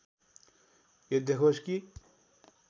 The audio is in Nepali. यो देखोस् कि